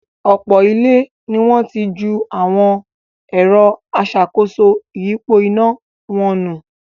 Ọ̀pọ̀ ilé ní wọ́n ti ju awọn “ẹ̀rọ aṣàkóso ìyípo iná” wọn nù.